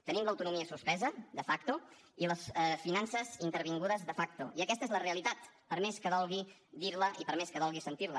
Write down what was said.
tenim l’autonomia suspesa de facto i les finances intervingudes de facto i aquesta és la realitat per més que dolgui dir la i per més que dolgui sentir la